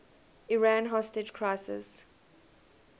iran hostage crisis